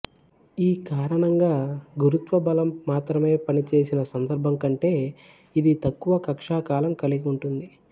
ఈ కారణంగా గురుత్వ బలం మాత్రమే పనిచేసిన సందర్భంకంటే ఇది తక్కువ కక్ష్యా కాలం కలిగి ఉంటుంది